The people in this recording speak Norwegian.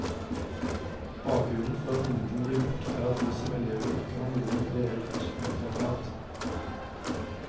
Bakgrunnen for at ingenting blir gjordt er at vi som elever ikke har noe reellt maktapparat.